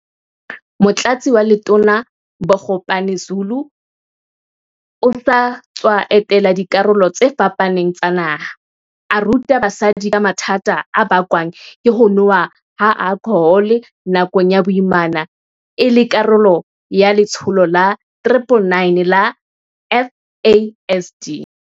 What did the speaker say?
Motlatsi wa Letona Bogo pane-Zulu o sa tswa etela dikarolo tse fapaneng tsa naha, a ruta basadi ka mathata a bakwang ke ho nowa ha alkhohole nakong ya boimana e le karolo ya letsholo la 9-9-9 la FASD.